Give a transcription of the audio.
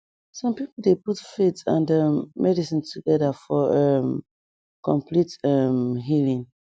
some people dey put faith and um medicine together for um complete um healing